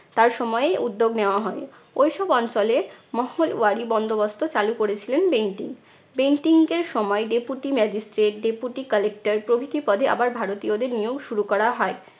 তার সময়েই উদ্যোগ নেওয়া হয়। ওই সব অঞ্চলে মহমল ওয়ারী বন্দোবস্ত চালু করেছিলেন বেন্টিং। বেন্টিংক এর সময় deputy magistrate, deputy collector প্রভৃতি পদে আবার ভারতীয়দের নিয়োগ শুরু করা হয়।